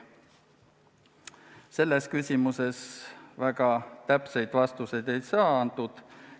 Selles küsimuses väga täpseid vastuseid ei saadud.